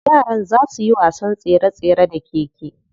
Yaran za suyi wasan tsere tsere da keke.